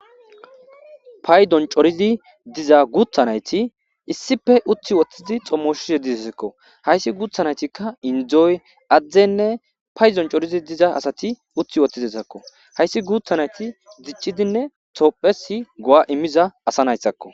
paydon coridi diza guutha nayti issife uthi woththizi xommosho yeddisekko hayssi guuthanaytikka indzoy adzdzenne paydon corizi diza asati uthi woththizesekko hayssi guuthanayti diccidinne toophesi go7a immiza asa nayssakko